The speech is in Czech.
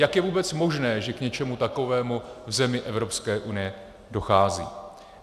Jak je vůbec možné, že k něčemu takovému v zemi EU dochází.